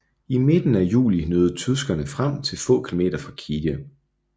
I midten af juli nåede tyskerne frem til få kilometer fra Kijev